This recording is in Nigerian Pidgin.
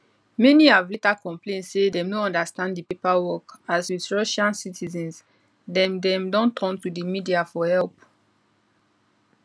many have later complain say dem no understand di paperwork as with russian citizens dem dem don turn to di media for help